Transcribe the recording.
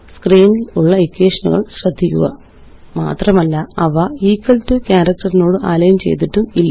സ്ക്രീനിലുള്ള ഇക്വേഷനുകള് ശ്രദ്ധിക്കുക മാത്രമല്ല അവ ഇക്വൽ ടോ ക്യാരക്റ്ററിനോട് അലൈന് ചെയ്തിട്ടുമില്ല